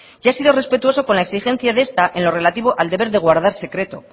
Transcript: y ha sido respetuoso con la exigencia de esta en lo relativo al deber de guardar secreto